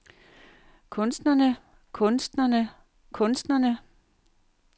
kunstnerne kunstnerne kunstnerne